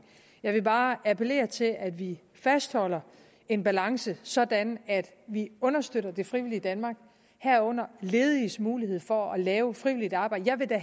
jeg vil bare appellere til at vi fastholder en balance sådan at vi understøtter det frivillige danmark herunder lediges mulighed for at lave frivilligt arbejde jeg vil da